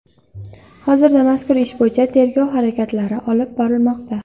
Hozirda mazkur ish bo‘yicha tergov harakatlari olib borilmoqda.